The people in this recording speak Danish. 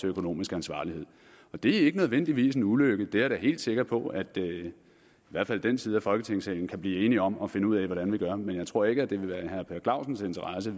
økonomisk ansvarlighed og det er ikke nødvendigvis en ulykke det er jeg helt sikker på at i hvert fald den her side i folketingssalen kan blive enige om at finde ud af hvordan vi gør men jeg tror ikke det vil være i herre per clausens interesse